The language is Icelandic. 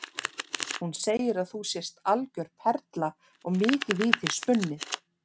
Hún segir að þú sért algjör perla og mikið í þig spunnið.